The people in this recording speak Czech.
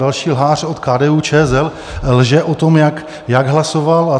Další lhář od KDU-ČSL lže o tom, jak hlasoval.